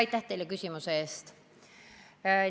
Aitäh teile küsimuse eest!